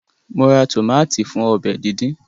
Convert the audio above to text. Mo ra tómátì fún ọbẹ̀ díndín